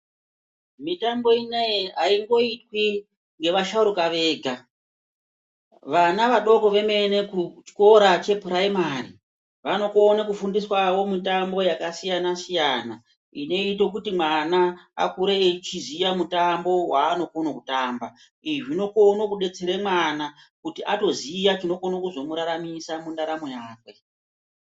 Mitambo inei aingoitwi ngevasharuka vega vana vadoko vemene kuchikora chepuraimari vanokona kufundiswawo mitambo yakasiyana siyana inoite kuti mwana akure echiziya mutambo waanokone kutamba, izvi zvinokone kudetsera mwana kuti atoziya chinokone kuzomuraramisa mundaramo yake.